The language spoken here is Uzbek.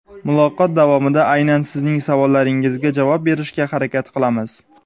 Muloqot davomida aynan sizning savollaringizga javob berishga harakat qilamiz.